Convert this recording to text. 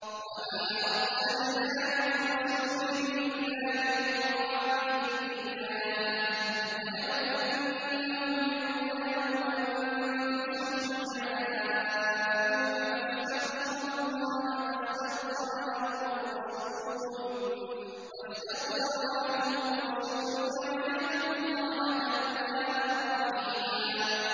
وَمَا أَرْسَلْنَا مِن رَّسُولٍ إِلَّا لِيُطَاعَ بِإِذْنِ اللَّهِ ۚ وَلَوْ أَنَّهُمْ إِذ ظَّلَمُوا أَنفُسَهُمْ جَاءُوكَ فَاسْتَغْفَرُوا اللَّهَ وَاسْتَغْفَرَ لَهُمُ الرَّسُولُ لَوَجَدُوا اللَّهَ تَوَّابًا رَّحِيمًا